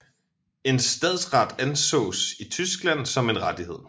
En stadsret ansås i Tyskland som en rettighed